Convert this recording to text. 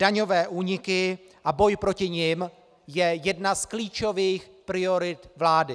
Daňové úniky a boj proti nim jsou jedna z klíčových priorit vlády.